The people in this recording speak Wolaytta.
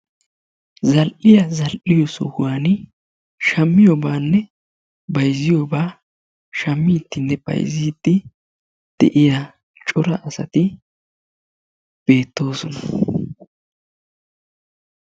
Zal'iya zal'iyo sohuwaan shammiyobaanne bayzziyoobaa shaammiidinne bayzzidi de'iya cora asati beettoosona.